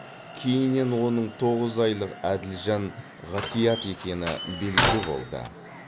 кейіннен оның тоғыз айлық әділжан ғатиат екені белгілі болды